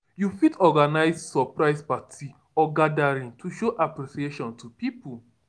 You fit organise surprise party or gathering to show appreciation to pipo